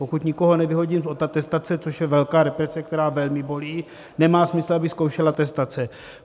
Pokud nikoho nevyhodím od atestace, což je velká represe, která velmi bolí, nemá smysl, abych zkoušel atestace.